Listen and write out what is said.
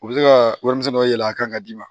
U bɛ se ka warimisɛn dɔ yɛlɛ a kan ka d'i ma